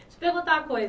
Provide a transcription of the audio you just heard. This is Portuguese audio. Vou te perguntar uma coisa.